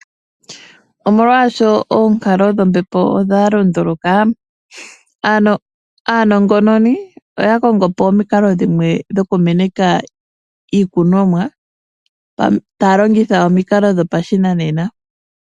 Omolwaasho oonkalo dhombepo odha lunduluka, aanongononi oya kongo po omikalo dhimwe dho ku meneka iikunomwa taya longitha omikalo dhopashinanena.